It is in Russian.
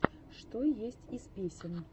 что есть из песен